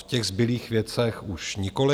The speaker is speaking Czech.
V těch zbylých věcech už nikoliv.